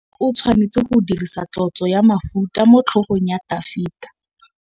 Samuele o tshwanetse go dirisa tlotsô ya mafura motlhôgong ya Dafita.